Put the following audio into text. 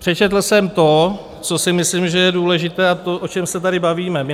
Přečetl jsem to, co si myslím, že je důležité, a to, o čem se tady bavíme my.